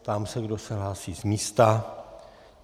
Ptám se, kdo se hlásí z místa.